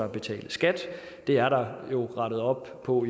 at betale skat det er der rettet op på